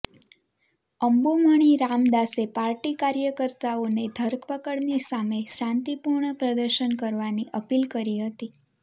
અંબુમણી રામદાસે પાર્ટી કાર્યકર્તાઓને ધરપકડની સામે શાંતિપૂર્ણ પ્રદર્શન કરવાની અપીલ કરી હતી